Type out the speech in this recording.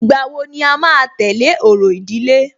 Ìgbà wo ni à máa tẹ̀lé orò ìdílé?